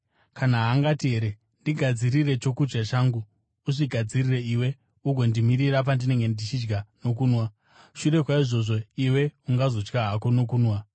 Ko, haangati here, ‘Ndigadzirire chokudya changu, uzvigadzirire iwe ugondimirira pandinenge ndichidya nokunwa; shure kwaizvozvo iwe ungazodya hako nokunwa’?